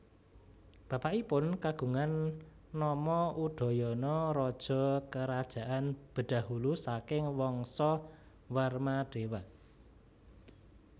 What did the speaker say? Bapakipun kagungan nama Udayana raja Kerajaan Bedahulu saking Wangsa Warmadewa